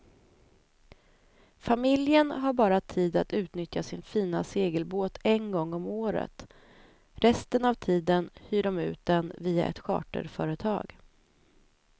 Familjen har bara tid att utnyttja sin fina segelbåt en gång om året, resten av tiden hyr de ut den via ett charterföretag.